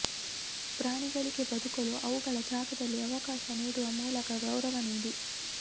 ಪ್ರಾಣಿಗಳಿಗೆ ಬದುಕಲು ಅವುಗಳ ಜಾಗದಲ್ಲಿ ಅವಕಾಶ ನೀಡುವ ಮೂಲಕ ಗೌರವ ನೀಡಿ